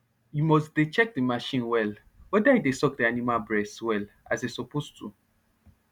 u mus dey check d marchin well weda e dey suck d animal bress well as e suppose to